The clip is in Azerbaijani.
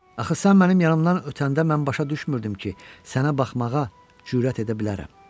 Axı sən mənim yanımdan ötəndə mən başa düşmürdüm ki, sənə baxmağa cürət edə bilərəm.